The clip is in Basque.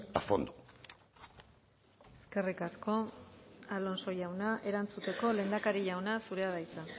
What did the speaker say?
a fondo eskerrik asko alonso jauna erantzuteko lehendakari jauna zurea da hitza